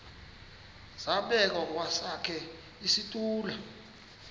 zabekwa kwesakhe isitulo